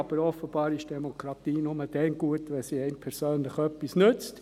Aber offenbar ist Demokratie nur dann gut, wenn sie einem persönlich etwas nützt.